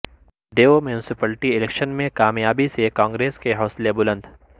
دیو municipality election میں کامیابی سے کانگریس کے حوصلے بلند